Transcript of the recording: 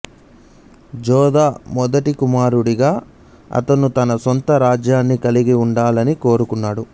జోధా మొదటి కుమారుడిగా అతను తన సొంత రాజ్యాన్ని కలిగి ఉండాలని కోరుకున్నాడు